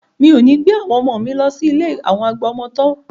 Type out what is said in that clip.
Mi ò ní gbé àwọn ọmọ mi lọ sí ilé àwọn àgbà ọmọ tọ́